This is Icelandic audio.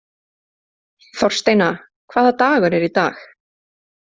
Þorsteina, hvaða dagur er í dag?